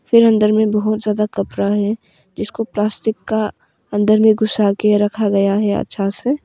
फिर अंदर में बहुत ज्यादा कपरा है जिसको प्लास्टिक का अंदर में घुसा के रखा गया है अच्छा से।